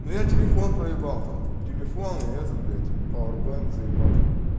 ну я телефон проебал там телефон этот блядь пауер банк заебатый